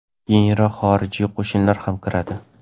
keyinroq xorijiy qo‘shinlar ham kiradi.